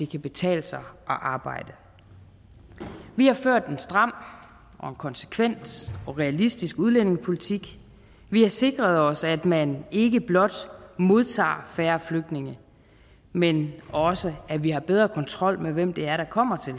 kan betale sig at arbejde vi har ført en stram og konsekvent og realistisk udlændingepolitik vi har sikret os at man ikke blot modtager færre flygtninge men også at vi har bedre kontrol med hvem det er der kommer til